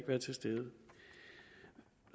være til stede